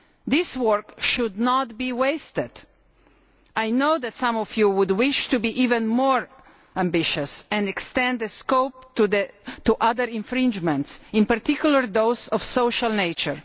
This work should not be wasted. I know that some of you would wish to be even more ambitious and extend the scope to other infringements, in particular those of a social nature.